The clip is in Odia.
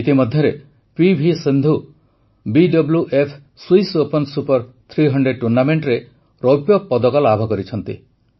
ଇତିମଧ୍ୟରେ PV Sindhu BWF Swiss open super 300 ଟୁର୍ଣ୍ଣାମେଣ୍ଟରେ ରୌପ୍ୟପଦକ ଲାଭ କରିଛନ୍ତି